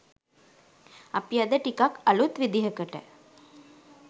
අපි අද ටිකක්‌ අලුත් විදිහකට